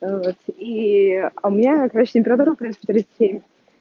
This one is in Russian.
ээ вот и а у меня короче температура в принципе тридцать семь